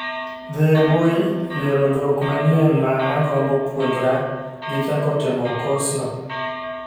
Dhi e mbui, yiero dhok manyien ma agombo puonjra gi chako timo kos no